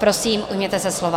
Prosím, ujměte se slova.